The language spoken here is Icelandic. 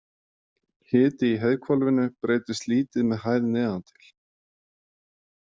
Hiti í heiðhvolfinu breytist lítið með hæð neðan til.